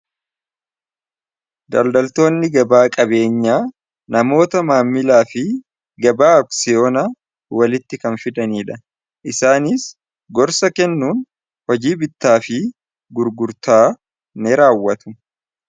Daldaltoonni gabaa qabeenyaa namoota maamilaa fi gabaa aksiyoona walitti kan fidaniidha. Isaanis gorsa kennuun hojii bittaa fi gurgurtaa ni raawwatu.